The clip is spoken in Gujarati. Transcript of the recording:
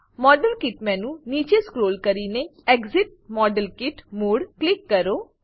મોડેલ કિટ મેનુમાં નીચે સ્ક્રોલ કરીને exit model kit mode click કરો